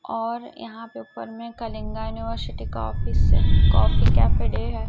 और यहां पेपर में कलिंगा यूनिवर्सिटी का ऑफिस है कॉफी कैफे डे है।